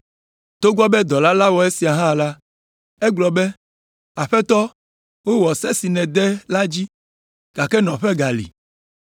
“Togbɔ be dɔla la wɔ esia hã la, egblɔ be, ‘Aƒetɔ wowɔ se si nède la dzi, gake nɔƒe gali.’